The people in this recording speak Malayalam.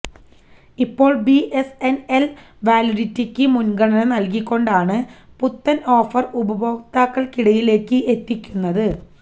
ഇപ്പോള് ബി എസ് എൻ എൽ വാലിഡിറ്റിയ്ക്ക് മുന്ഗണന നല്കിക്കൊണ്ടാണ് പുത്തൻ ഓഫർ ഉപഭോകതാക്കൾക്കിടയിലേക്ക് എത്തിക്കുന്നത്